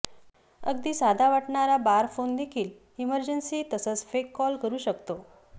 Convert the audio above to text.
अगदी साधा वाटणारा बार फोनदेखील इमर्जन्सी तसंच फेक कॉल करू शकतो